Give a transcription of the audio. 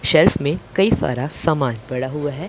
Self में कई सारा सामान पड़ा हुआ है।